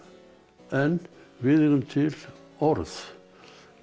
en við eigum til orð við